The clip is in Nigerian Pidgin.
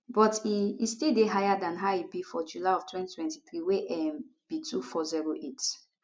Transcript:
but e e still dey higher dan how e be for july of 2023 wey um be 2408